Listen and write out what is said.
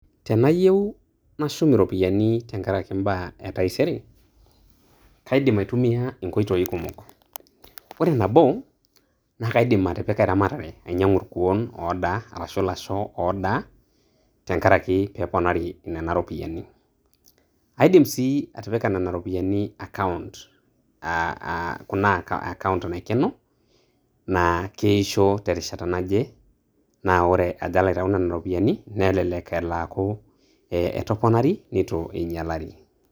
Tenayieu nashum iropiyiani toombaa etaisere. Kaidim aitumia inkoitoi kumok; ore nabo naa kaidim atipika eramatare ainyangu irkuoon oodaa arashu ilasho oodaa tenkaraki pee eponari nina ropiyiani. Aidim sii atipika nina ropiyiani account aah aah kuna account naikeno naa keishoo terishata naje naa ore ajo alo aitayu nena ropiyiani nelelek elo aaku ee etoponari neitu einyialari.